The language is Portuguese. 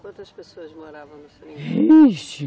Quantas pessoas moravam no Seringal? Vixe